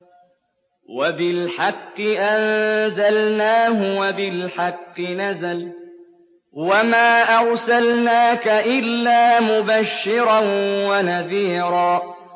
وَبِالْحَقِّ أَنزَلْنَاهُ وَبِالْحَقِّ نَزَلَ ۗ وَمَا أَرْسَلْنَاكَ إِلَّا مُبَشِّرًا وَنَذِيرًا